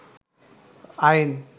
আইন